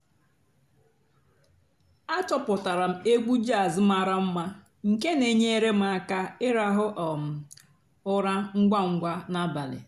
àchọ́pụ́tárá m ègwú jàzz màrà m̀ma nkè nà-ènyééré m àká ị̀ràhụ́ um ụ́rà ǹgwá ǹgwá n'àbàlí.